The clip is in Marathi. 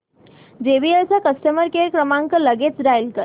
जेबीएल चा कस्टमर केअर क्रमांक लगेच डायल कर